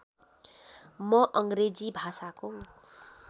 म अङ्ग्रेजी भाषाको